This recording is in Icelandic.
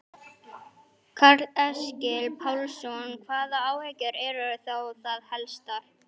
Karl Eskil Pálsson: Hvaða áhyggjur eru þá það helstar?